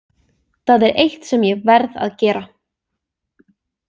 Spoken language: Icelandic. Það er eitt sem ég verð að gera.